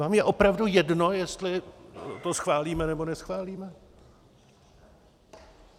Vám je opravdu jedno, jestli to schválíme, nebo neschválíme?